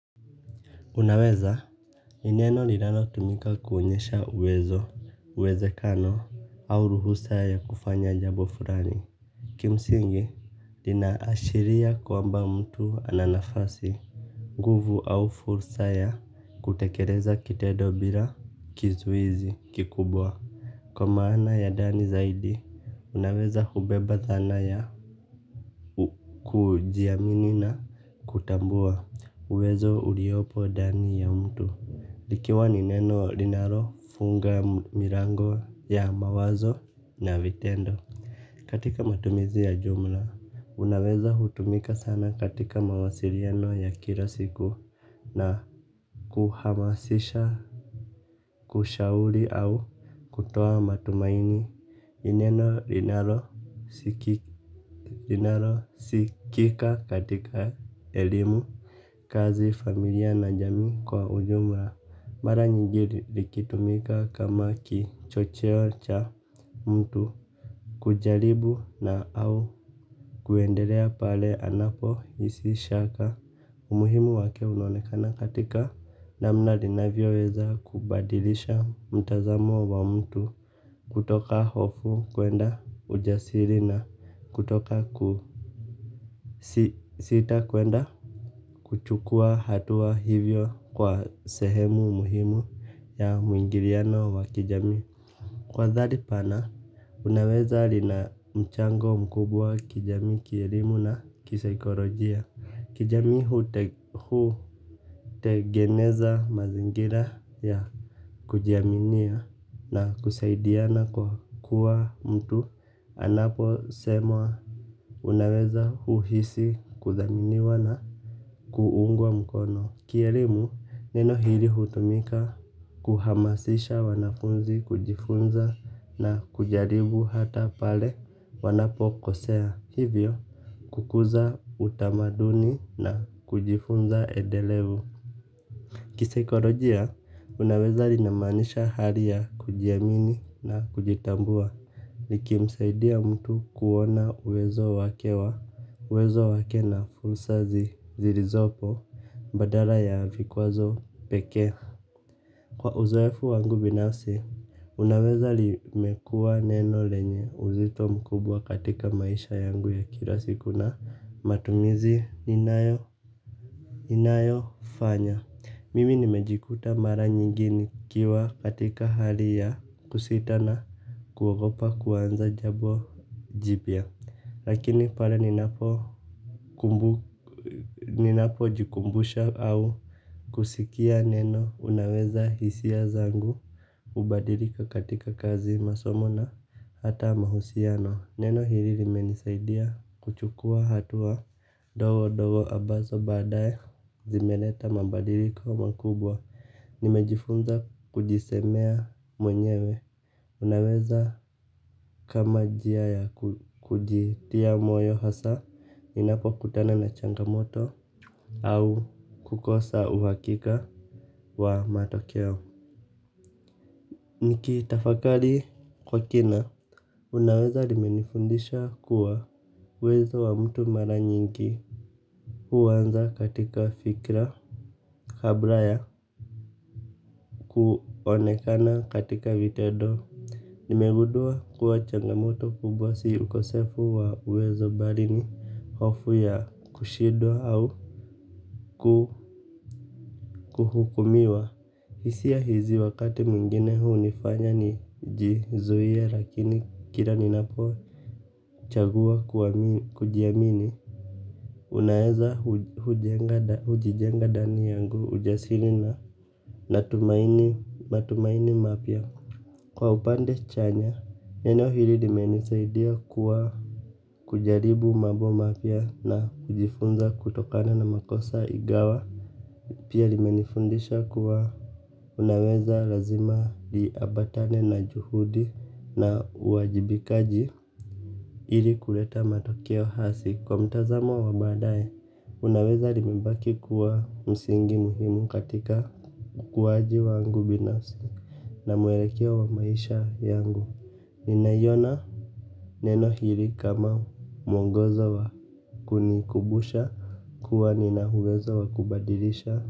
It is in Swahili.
Unaweza. Ni neno linalotumika kuonyesha uwezekano au ruhusa ya kufanya jambo fulani. Kimsingi, linaashiria kwamba mtu ana nafasi. Nguvu au fursa ya kutekeleza kitendo bila kizuizi kikubwa. Kwa maana ya ndani zaidi, unaweza hubeba thana ya kujiamini na kutambua. Uwezo uliopo ndani ya mtu likiwa ni neno linalofunga milango ya mawazo na vitendo. Katika matumizi ya jumla unaweza hutumika sana katika mawasiliano ya kila siku. Na kuhamasisha kushauri au kutoa matumaini. Ni neno linalosikika katika elimu. Kazi familia na jamii kwa ujumla, mara nyingi likitumika kama kichocheo cha mtu kujaribu na au kuendelea pale anapohisi shaka. Umuhimu wake unaonekana katika namna linavyoweza kubadilisha mtazamo wa mtu kutoka hofu kuenda ujasiri na kutoka kusita kuenda. Kuchukua hatua hivyo kwa sehemu muhimu ya muingiliano wa kijamii. Kwa dhali pana, unaweza lina mchango mkubwa kijamii kielimu na kisaikolojia. Kijami hutengeneza mazingira ya kujiaminia na kusaidiana kwa kuwa mtu anaposema unaweza huhisi kudhaminiwa na kuungwa mkono. Kielimu neno hili hutumika kuhamasisha wanafunzi kujifunza na kujaribu hata pale wanapokosea. Hivyo kukuza utamaduni na kujifunza endelevu. Kisaikolojia unaweza linamaanisha hali ya kujiamini na kujitambua. Likimsaidia mtu kuona uwezo wake wa, uwezo wake na fursa zilizopo badala ya vikwazo pekee. Kwa uzoefu wangu binafsi, unaweza limekua neno lenye uzito mkubwa katika maisha yangu ya kila siku na matumizi inayofanya mimi nimejikuta mara nyingi nikiwa katika hali ya kusita na kuogopa kuanza jambo jipya. Lakini pale ninapojikumbusha au kusikia neno unaweza, hisia zangu hubadilika katika kazi, masomo na hata mahusiano. Neno hili limenisaidia kuchukua hatua ndogondogo ambazo baadae zimeleta mabadiliko makubwa. Nimejifunza kujisemea mwenyewe. Unaweza kama njia ya kujitia moyo hasa ninapokutana na changamoto au kukosa uhakika wa matokeo. Nikitafakari kwa kina. Unaweza limenifundisha kuwa uwezo wa mtu mara nyingi huanza katika fikra. Kabla ya kuonekana katika vitendo. Nimegundua kuwa changamoto kubwa si ukosefu wa uwezo bali ni hofu ya kushindwa au kuhukumiwa. Hisia hizi wakati mwingine hunifanya nijizuie lakini kila ninapochagua kujiamini. Unaeza hujijenga ndani yangu ujasiri na matumaini mapya. Kwa upande chanya, neno hili limenisaidia kuwa kujaribu mambo mapya na kujifunza kutokana na makosa ingawa pia limenifundisha kuwa unaweza lazima liambatane na juhudi na uwajibikaji ili kuleta matokeo hasi. Kwa mtazamo wa baadae, unaweza limebaki kuwa msingi muhimu katika ukuwaji wangu binafsi na mwelekeo wa maisha yangu. Ninaiona neno hili kama mwongozo wa kunikumbusha kuwa nina uwezo wa kubadilisha.